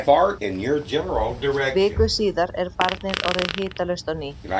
Viku síðar er barnið orðið hitalaust á ný.